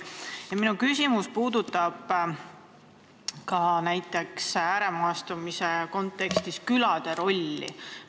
Minu küsimus puudutab ääremaastumise kontekstis külade rolli.